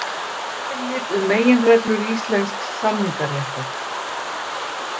Yfirlit um meginreglur íslensks samningaréttar.